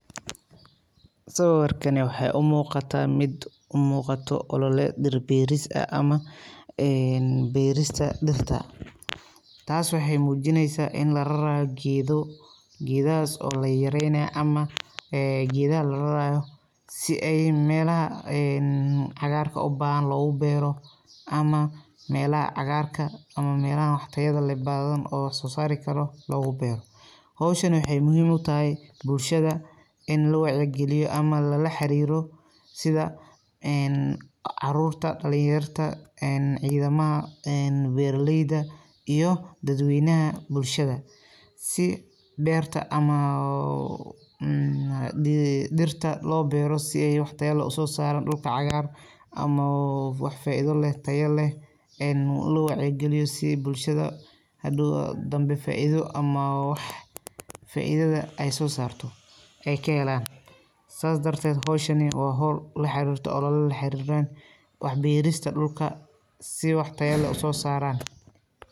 Sawirkani waxee umuuqata mid umuuqato ololeed dhir beeris ah ama een dheerista dhirta. Taas waxee muujineysa in lararaayo geedo geedahas oo layaryareynaayo ama ee geedaha lararaayo si ay meelaha een cagaarka ubaahan lagu beero ama meelaha cagaarka ama meelaha wax tayada leh badan oo soo saari karo loogu beero howshan waxee muhiim utahay bulshada in lawacyi galiyo ama lala xariiro sida een caruurta, dhalinyarta een ciidamaha een beeraleyda iyo dad weynaha bulshada si beerta ama oo um, hadii dhirta loo beero si ay wax tayo leh usoo saaro dhulka cagaar amao oo wax faaido leh tayo leh een loo wacyi galiyo bulshada hadhow danbe faaido ama wax faaidada ay soo saarto ka helaan saas dardeed howshani waa hool la xariirto olole la xariiran wax beerista dhulka si wax tayo leh usoo saaran.